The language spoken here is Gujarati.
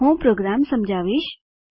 હું પ્રોગ્રામ સમજાવીશ